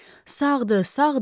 Sağdır, sağdır!